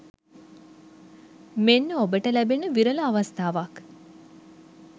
මෙන්න ඔබට ලැබෙන විරල අවස්ථාවක්.